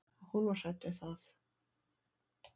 Og hún var hrædd við það.